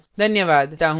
धन्यवाद